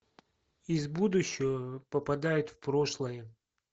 из будущего попадает в прошлое